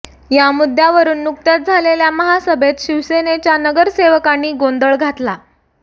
या मुद्द्यावरून नुकत्याच झालेल्या महासभेत शिवसेनेच्या नगरसेवकांनी गोंधळ घातला